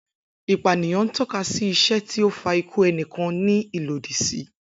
Ipaniyan n tọka si iṣe ti o fa iku ẹnikan ni ilodi si.